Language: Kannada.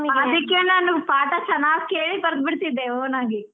ಅದಕ್ಕೇ ನಾನು ಪಾಠ ಚೆನ್ನಾಗಿ ಕೇಳಿ ಬರ್ದು ಬಿಡ್ತಿದ್ದೆ own ಆಗಿ.